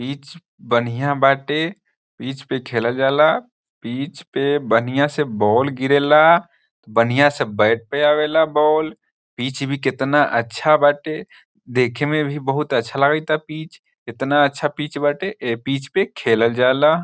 Pitch बढ़िया बाटे pitch पे खेलल जाला पिच पे बढ़िया से बॉल गिरेला केतना अच्छा बाटे देखे में बहुत अच्छा लागेला केतना अच्छा पिच बाटे ए पिच पे खेलल जाला ।